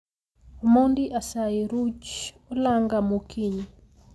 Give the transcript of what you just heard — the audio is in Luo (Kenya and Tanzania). Omondi asayi ruch olanga mokinyi